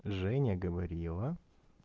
женя говорила